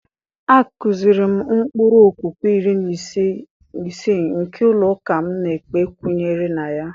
A kụziiri m ụkpụrụ okwukwe iri na isii nke ụlọ ụka m na-ekpe kwenyere na ya.